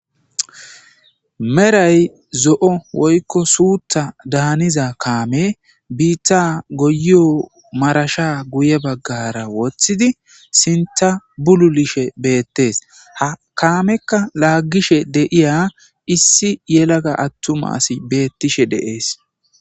Meray zo7o woykko suutha daaniza kaame biitta goyyo marasha guye baggara woththidi sintha bululishe beettees. ha kaamekka laaggishe deiya issi yelaga attumasi beettishe deees.